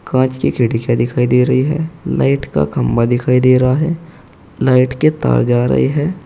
कांच की खिड़कियां दिखाई दे रही है लाइट का खंबा दिखाई दे रहा है लाइट के तार जा रहे है।